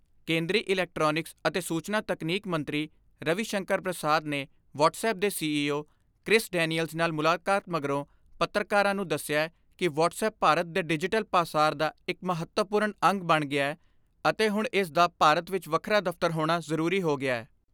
ਕੇਂਦਰੀ ਇਲੈਕਟ੍ਰਾਨਿਕਸ ਅਤੇ ਸੂਚਨਾ ਤਕਨੀਕ ਮੰਤਰੀ ਰਵੀ ਸ਼ੰਕਰ ਪ੍ਰਸ਼ਾਦ ਨੇ ਵਟਸਐੱਪ ਦੇ C E O Chris Daniels ਨਾਲ ਮੁਲਾਕਾਤ ਮਗਰੋਂ ਪੱਤਰਕਾਰਾਂ ਨੂੰ ਦਸਿਐ ਕਿ ਵਟਸਐੱਪ ਭਾਰਤ ਦੇ ਡਿਜੀਟਲ ਪਾਸਾਰ ਦਾ ਇਕ ਮਹੱਤਵਪੂਰਨ ਅੰਗ ਬਣ ਗਿਐ ਅਤੇ ਹੁਣ ਇਸ ਦਾ ਭਾਰਤ ਵਿਚ ਵਖਰਾ ਦਫ਼ਤਰ ਹੋਣਾ ਜ਼ਰੂਰੀ ਹੋ ਗਿਐ।